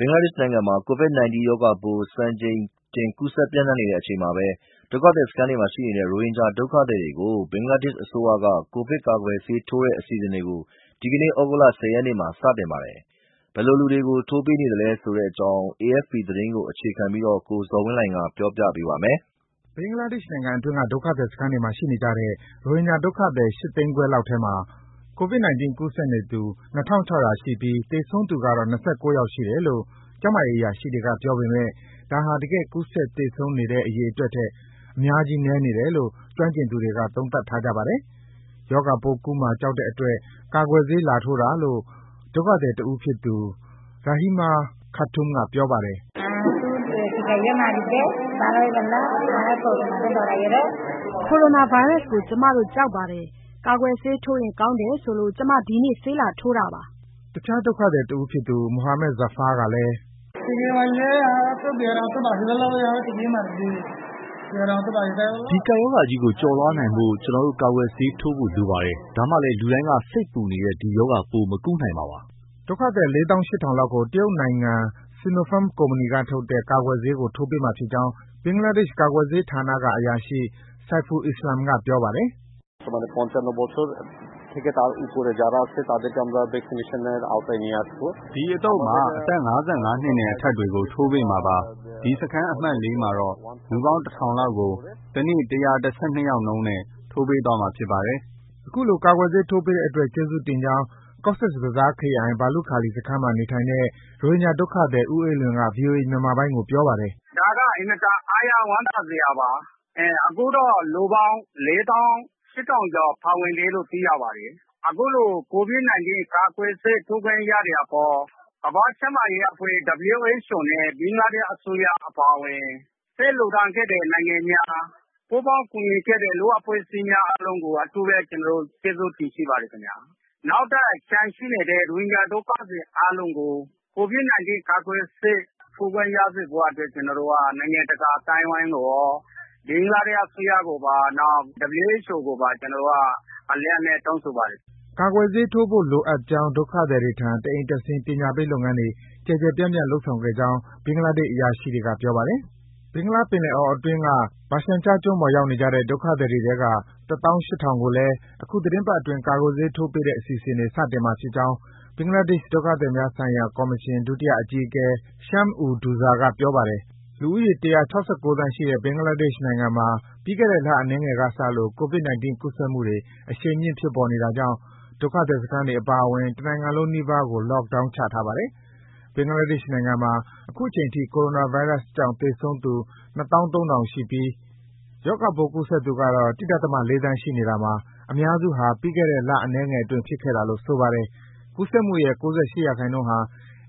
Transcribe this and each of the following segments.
ဘင်္ဂလားဒေ့ရှ်နိုင်ငံမှာ ကိုဗစ်-၁၉ ရောဂါပိုး စံချိန်တင် ကူးစက်ပြန့်နှံ့နေတဲ့အချိန်မှာဘဲ ဒုက္ခသည်စခန်းတွေမှာ ရှိနေတဲ့ ရိုဟင်ဂျာ ဒုက္ခသည်တွေကို ဘင်္ဂလားဒေ့ရှ်အစိုးရက ကိုဗစ်ကာကွယ်ဆေးထိုးတဲ့ အစီအစဉ်တွေ ဒီကနေ့ သြဂုတ်လ ၁၀ ရက်နေ့မှာ စတင်ပါတယ်။ ဘယ်လိုလူတွေကို ထိုးပေးနေသလဲဆိုတဲ့အကြောင်း AFP သတင်းကို အခြေခံပြီး ကိုဇော်ဝင်းလှိုင်က ပြောပြပေးပါမယ်။ ဘင်္ဂလားဒေ့ရှ်နိုင်ငံအတွင်းက ဒုက္ခသည်စခန်းတွေမှာရှိနေကြတဲ့ ရိုဟင်ဂျာဒုက္ခသည် ၈ သိန်းခွဲလောက်ထဲမှာ ကိုဗစ်-၁၉ ကူးစက်နေသူ ၂,၆၀၀ ရှိပြီး သေဆုံးသူကတော့ ၂၉ ယောက်ရှိတယ်လို့ ကျန်းမာရေးအရာရှိတွေက ပြောပေမယ့် ဒါဟာ တကယ် ကူးစက် သေဆုံးတဲ့ အရေအတွက်ထက် အများကြီးနည်းနေတယ်လို့ ကျွမ်းကျင်သူ အများစုက သုံးသပ်ထားကြပါတယ်။ ရောဂါပိုးကူးမှာ ကြောက်တဲ့အတွက် ကာကွယ်ဆေးလာထိုးတာလို့ ဒုက္ခသည်တဦးဖြစ်သူ Rahima Khatun က အခုလို ပြောပါတယ်။ “ကိုရိုနာဗိုင်းရပ်စကို ကျမတို့ ကြောက်ပါတယ်။ ကာကွယ်ဆေးထိုးရင်ကောင်းတယ်ဆိုလို့ ကျမ ဒီနေ့ ဆေးလာထိုးတာပါ။” တခြား ဒုက္ခသည်တဦးဖြစ်သူ Mohammad Zafar ကလည်း “ဒီကပ်ရောဂါကြီးကို ကျော်လွှားနိုင်ဖို့ ကျနော်တို့ ကာကွယ်ဆေးထိုးဖို့ လိုပါတယ်။ ဒါမှလည်း လူတိုင်းက စိတ်ပူနေတဲ့ ဒီရောဂါပိုး မကူးနိုင်မှာပါ။” လို့ပြောပါတယ်။ ဒုက္ခသည် ၄၈,၀၀၀ လောက်ကို တရုတ်နိုင်ငံ Sinopharm ကုမ္ပဏီကထုတ်တဲ့ ကာကွယ်ဆေးကို ထိုးပေးမှာဖြစ်ကြောင်း ဘင်္ဂလားဒေ့ရှ် ကာကွယ်ဆေးဌာနကအရာရှိ Saiful Islam က ပြောပါတယ်။ “အဒီအသုတ်မှာ အသက် ၅၅ နှစ်နဲ့အထက်တွေကို ထိုးပေးမှာပါ။ ဒီ စခန်း အမှတ် (၄) မှာတော့ လူပေါင်း ၁,၀၀၀ လောက်ကို တနေ့ ၁၁၂ ယောက်နှုန်းလောက်နဲ့ ထိုးပေးသွားမှာ ဖြစ်ပါတယ်။” အခုလို ကာကွယ်ဆေးထိုးပေးတဲ့အတွက် ကျေးဇူးတင်ကြောင်း Cox’s Bazar ခရိုင်၊ ဘာလုခါလီစခန်းမှာ နေထိုင်တဲ့ ရိုဟင်ဂျာဒုက္ခသည် ဦးအေးလွင်က ဗွီအိုအေမြန်မာပိုင်းကိုပြောပါတယ်။ “အခုလို ကိုဗစ် ၁၉ ကာကွယ်ဆေးထိုးခွင့်ရတဲ့အပေါ် ကမ္ဘာ့ကျန်းမာရေးအဖွဲ့ WHO နဲ့ ဘင်္ဂလားဒေ့ရှ်အစိုးရ အပါအဝင် ဆေးလှူဒါန်းပေးကြတဲ့ နိုင်ငံများ ပူးပေါင်းကူညီပေးကြတဲ့ လူ့အဖွဲ့အစည်းများအားလုံးကို အထူးပဲ ကျနော်တို့ ရိုဟင်ဂျာတွေက ကျေးဇူးတင်ရှိပါတယ်ခင်ဗျာ။ နောက်ထပ် ကျန်ရှိနေသေးတဲ့ ရိုဟင်ဂျာဒုက္ခသည် အားလုံးကိုလည်း ကိုဗစ် ၁၉ ကာကွယ်ဆေး ထိုးခွင့်ရစေဖို့အတွက် ကျနော်တို့ ရိုဟင်ဂျာတွေက နိုင်ငံတကာအသိုင်းအဝိုင်းကိုရော ဘင်္ဂလားဒေ့ရှ်အစိုးရကိုပါ WHO ကိုပါ အလေးအနက် တောင်းဆိုပါတယ် ခင်ဗျာ။" ကာကွယ်ဆေးထိုးဖို့ လိုအပ်ကြောင်း ဒုက္ခသည်တွေထံ တအိမ်တက်ဆင်း ပညာပေးလုပ်ငန်းတွေ ကျယ်ကျယ်ပြန့်ပြန့်လုပ်ဆောင်ခဲ့ကြောင်း ဘင်္ဂလားဒေ့ရှ် အရာရှိတွေက ပြောပါတယ်။ ဘင်္ဂလားပင်လယ်အော်အတွင်းက ဘာရှန်ချားကျွန်းပေါ်ရောက်နေကြတဲ့ ဒုက္ခသည်တွေထဲက ၁၈,၀၀၀ ကိုလည်း အခုသီတင်းပတ်အတွင်း ကာကွယ်ဆေးထိုးပေးတဲ့အစီအစဉ်တွေ စတင်မှာဖြစ်ကြောင်း ဘင်္ဂလားဒေ့ရှ် ဒုက္ခသည်များဆိုင်ရာကော်မရှင် ဒုတိယအကြီးအကဲ Shams ud Douza က ပြောပါတယ်။ လူဦးရော ၁၆၉ သန်းရှိတဲ့ ဘင်္ဂလားဒေ့ရှ်မှာ ပြီးခဲ့တဲ့ လအနည်းငယ်ကစလို့ ကိုဗစ်-၁၉ ကူးစက်မှုတွေ အရှိန်မြင့် ဖြစ်ပေါ်နေတာကြောင့် ဒုက္ခသည်စခန်းတွေ အပါအဝင် တနိုင်ငံလုံးနီးပါးကို Lockdown ချထားပါတယ်။ ဘင်္ဂလားဒေ့ရှ်နိုင်ငံမှာ အခုချိန်ထိ ကိုရိုနာဗိုင်းရပ်စ်ကြောင့် သေဆုံးသူ ၂၃,၀၀၀ ရှိပြီး ရောဂါပိုးကူးစက်သူကတော့ ၁.၄ သန်းရှိနေတာမှာ အများစုဟာ ပြီးခဲ့တဲ့ လအနည်းငယ်အတွင်း ဖြစ်ခဲ့တာလို့ ဆိုပါတယ်။ ကူးစက်မှုရဲ့ ၉၈% ဟာ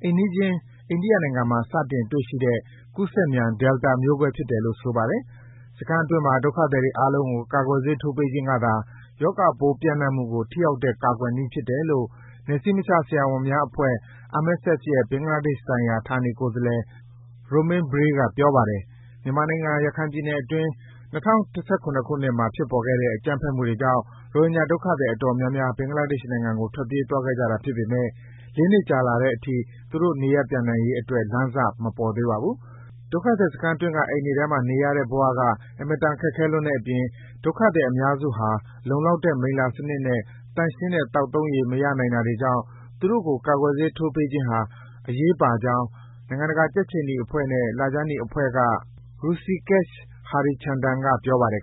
အိမ်နီးချင်း အိန္ဒိယနိုင်ငံမှာ စတင်တွေ့ရှိတဲ့ ကူးစက်မြန် Delta မျိုးကွဲဖြစ်တယ်လို့ ဆိုပါတယ်။ စခန်းအတွင်းက ဒုက္ခသည်တွေအားလုံးကို ကာကွယ်ဆေးထိုးပေးခြင်းကသာ ရောဂါပိုးပြန့်နှံ့မှုကို ထိရောက်တဲ့ ကာကွယ်နည်းဖြစ်တယ်လို့ နယ်စည်းမခြားဆရာဝန်များအဖွဲ့ MSF ရဲ့ ဘင်္ဂလားဒေ့ရှ်ဆိုင်ရာ ဌာနေကိုယ်စားလှယ် Romain Briey က ပြောပါတယ်။ မြန်မာနိုင်ငံ၊ ရခိုင်ပြည်နယ်အတွင်း ၂၀၁၇ ခုနှစ်မှာ ဖြစ်ပေါ်ခဲ့တဲ့ အကြမ်းဖက်မှုတွေကြောင့် ရိုဟင်ဂျာဒုက္ခသည်အတော်များများ ဘင်္ဂလားဒေ့ရှ်နိုင်ငံကို ထွက်ပြေးသွားခဲ့ကြတာဖြစ်ပေမယ့် ၄ နှစ်ကြာလာတဲ့အထိ သူတို့ နေရပ်ပြန်နိုင်ရေးအတွက် လမ်းစ မပေါ်သေးပါဘူး။ ဒုက္ခသည်စခန်းအတွင်းက အိမ်တွေထဲမှာ နေရတဲ့ဘ၀ အင်မတန် ခက်ခဲလွန်းတဲ့အပြင် ဒုက္ခသည် အများစုဟာ လုံလောက်တဲ့ မိလ္လာစနစ်နဲ့ သန့်ရှင်းတဲ့ သောက်သုံးရေ မရနိုင်တာတွေကြောင့် သူတို့ကို ကာကွယ်ဆေးထိုးပေးခြင်းဟာ အရေးပါကြောင်း နိုင်ငံတကာ ကြက်ခြေနီအဖွဲ့နဲ့ လခြမ်းနီအဖွဲ့က Hrusikesh Harichandan က ပြောပါတယ်